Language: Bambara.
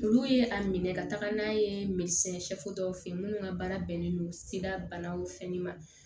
Olu ye a minɛ ka taga n'a ye dɔw fe yen munnu ka baara bɛnnen don banaw fɛnɛ ma